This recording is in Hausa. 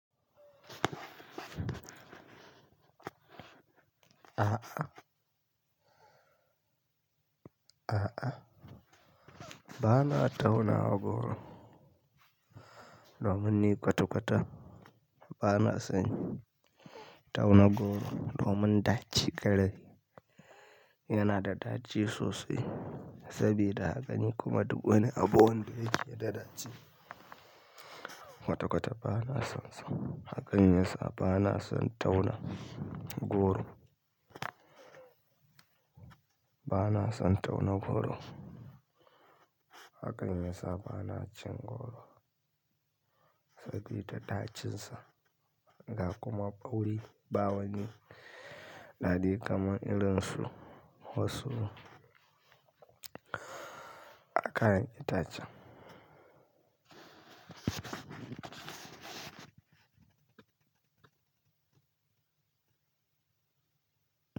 A'a, a'a. Ba na tauna goro. Domin ni kwata-kwata ba na son tauna goro domin daci ƙarai. Yana da daci sosai sabida haka ni kuma dubu wani abu wanda yake da daci. Kwata-kwata ba na son, hakan yasa ba na son tauna goro. Ba na son tauna goro. Hakan yasa ba na cin goro sabida dacinsa, ga kuma bauri, ba wani daɗi kamar irin su, wasu haka ne dacen.